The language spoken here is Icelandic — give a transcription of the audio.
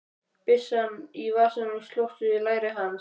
Byssan í vasanum slóst við læri hans.